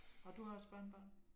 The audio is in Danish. Og du har også børnebørn?